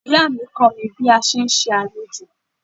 Ìyá mi kọ́ mi bí a sé ń ṣe àlejò.